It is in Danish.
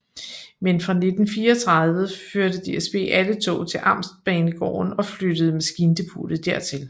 Men fra 1934 førte DSB alle tog til amtsbanegården og flyttede maskindepotet dertil